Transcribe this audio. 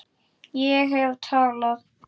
Ég hef talað.